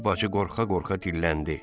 Kiçik bacı qorxa-qorxa dilləndi.